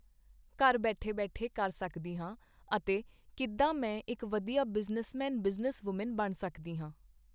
ਘਰ ਬੈਠੇ ਬੈਠੇ ਕਰ ਸਕਦੀ ਹਾਂ ਅਤੇ ਕਿੱਦਾਂ ਮੈਂ ਇੱਕ ਵਧੀਆ ਬਿਜ਼ਨਸਮੈਨ ਬਿਜ਼ਨਸ ਵੂਮੈਨ ਬਣ ਸਕਦੀ ਹਾਂ।